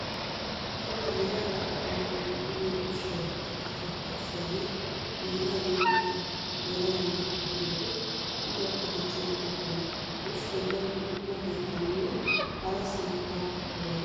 Cora yelaga naati uyiyo ushshay ikka sakkarissiyaagee "biiraa" geetettiyaagaa yelaga naati uyiyoodee uluwakka dichches goosona. Ha ushshay darotoo quma keettaninne harasan barkkaka bayzettees.